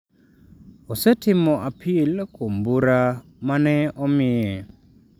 Osetimo apil kuom bura ma ne omiye.